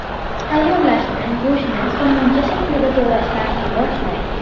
Tayyorlashni go‘shtni somoncha shaklida to‘g‘rashdan boshlang.